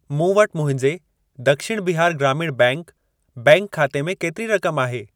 मूं वटि मुंहिंजे दक्षिण बिहार ग्रामीण बैंक बैंक खाते में केतिरी रक़म आहे?